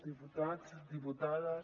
diputats diputades